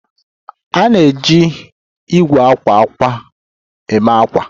A na-eji igwe akwa akwa eme akwa